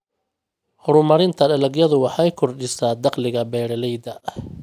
Horumarinta dalagyadu waxay kordhisaa dakhliga beeralayda.